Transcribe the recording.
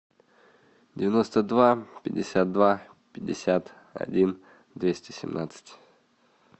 девяносто два пятьдесят два пятьдесят один двести семнадцать